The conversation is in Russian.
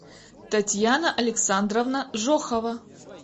татьяна александровна жохова